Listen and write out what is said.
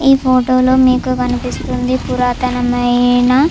ఈ ఫోటోలో మీకు కనిపిస్తుంది పురాతనమైన --